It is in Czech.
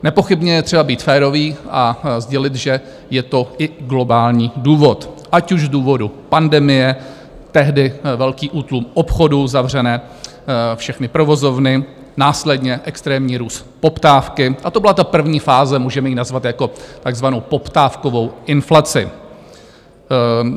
Nepochybně je třeba být férový a sdělit, že je to i globální důvod, ať už z důvodu pandemie, tehdy velký útlum obchodů, zavřené všechny provozovny, následně extrémní růst poptávky, a to byla ta první fáze, můžeme ji nazvat jako takzvanou poptávkovou inflaci.